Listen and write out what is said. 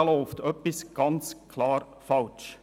Da läuft etwas ganz klar falsch.